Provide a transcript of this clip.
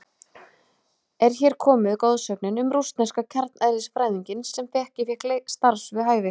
Er hér komin goðsögnin um rússneska kjarneðlisfræðinginn sem ekki fékk starf við hæfi?